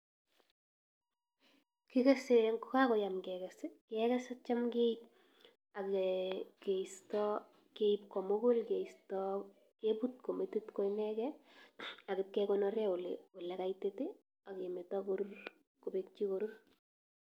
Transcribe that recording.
Kigese kot ko kakayaam keges keges i,ak cham keistoo, Keib komugul keistoo keebut ko metit ko ineken. Ak ipkekonoren ole kaitit, ak kemeto koruur kobekkyii korur.